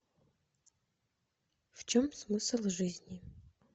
в чем смысл жизни